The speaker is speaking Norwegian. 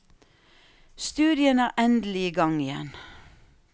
Studiene er endelig i gang igjen.